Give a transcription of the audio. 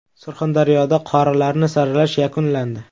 Surxondaryoda qorilarni saralash yakunlandi.